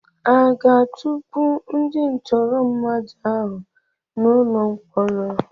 Aga-atukpu ndị ntụrụ mmadụ ahụ n'ụlọ mkpọrọ?